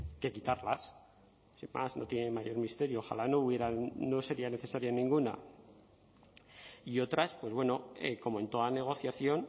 que quitarlas sin más no tienen mayor misterio ojalá no hubieran no sería necesaria ninguna y otras pues bueno como en toda negociación